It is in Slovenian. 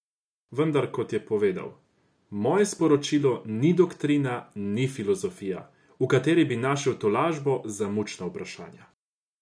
Vendar, kot je povedal: "Moje sporočilo ni doktrina, ni filozofija, v kateri bi našel tolažbo za mučna vprašanja.